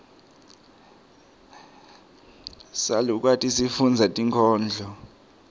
salukati sifundza tinkhondlo